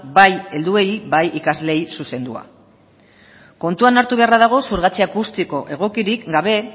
bai helduei bai ikasleei zuzendua kontuan hartu beharra dago xurgatze akustiko egokirik gabe